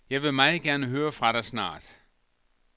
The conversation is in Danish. Jeg vil meget gerne høre fra dig snart.